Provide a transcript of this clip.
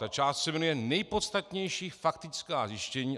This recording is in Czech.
Ta část se jmenuje Nejpodstatnější faktická zjištění.